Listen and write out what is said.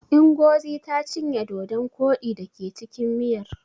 Ingozi ta cinye dodon koɗi da ke cikin miyar.